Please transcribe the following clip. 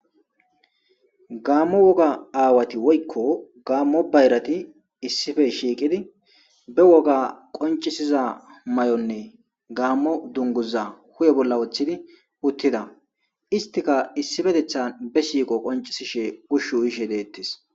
Gaammo woga aawati woykko gaammo bayrati issife shiiqidi be woga qoncisiza may'onne gaammo dunguza kuye bolla woththidi uttida istika issifetethan be siiqo qoncisishe ushu yishe deettis.